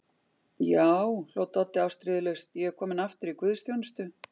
Já, hló Doddi ástríðulaust, ég er kominn aftur í Guðs Þjónustu.